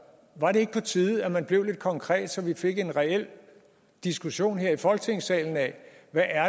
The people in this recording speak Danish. var det ikke på tide at man blev lidt konkret så vi fik en reel diskussion her i folketingssalen af hvad